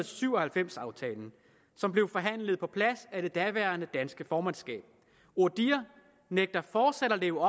syv og halvfems aftalen som blev forhandlet på plads af det daværende danske formandskab odihr nægter fortsat at leve